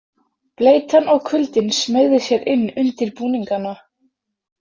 Bleytan og kuldinn smeygði sér inn undir búningana.